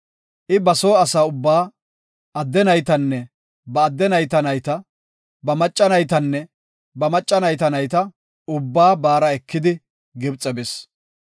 I ba soo asa ubbaa; adde naytanne ba adde nayta nayta, ba macca naytanne ba macca nayta nayta, ubbaa baara ekidi Gibxe bis.